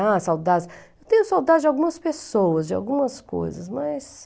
Ah, saudades... Eu tenho saudades de algumas pessoas, de algumas coisas, mas...